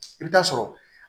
I bɛ taa sɔrɔ